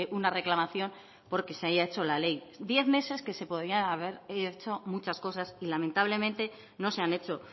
una reclamación porque se haya hecho la ley diez meses que se podían haber hecho muchas cosas y lamentablemente no se han hecho